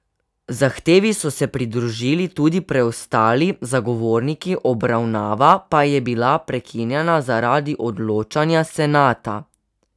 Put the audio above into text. Zahtevi so se pridružili tudi preostali zagovorniki, obravnava pa je bila prekinjena zaradi odločanja senata.